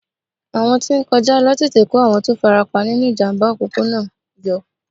Àwọn tí ń kọjá ló tètè kó àwọn tó farapa nínú ìjàmbá òpópónà náà yọ.